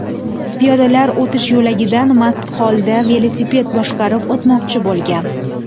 piyodalar o‘tish yo‘lagidan mast holda velosiped boshqarib o‘tmoqchi bo‘lgan.